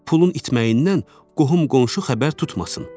Pulun itməyindən qohum-qonşu xəbər tutmasın.